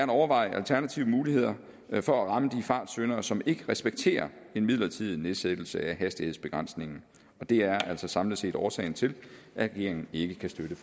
overveje alternative muligheder for at ramme de fartsyndere som ikke respekterer en midlertidig nedsættelse af hastighedsbegrænsningen og det er altså samlet set årsagen til at regeringen ikke kan støtte